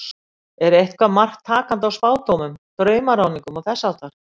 Er eitthvert mark takandi á spádómum, draumaráðningum og þess háttar?